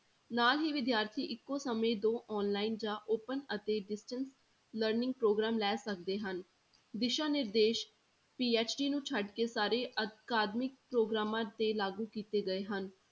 ਨਾਲ ਹੀ ਵਿਦਿਆਰਥੀ ਇੱਕੋ ਸਮੇਂ ਦੋ online ਜਾਂ open ਅਤੇ distance learning ਪ੍ਰੋਗਰਾਮ ਲੈ ਸਕਦੇ ਹਨ, ਦਿਸ਼ਾ ਨਿਰਦੇਸ਼ PhD ਨੂੰ ਛੱਡ ਕੇ ਸਾਰੇ ਅਕਾਦਮਿਕ ਪ੍ਰੋਗਰਾਮਾਂ ਤੇ ਲਾਗੂ ਕੀਤੇ ਗਏ ਹਨ।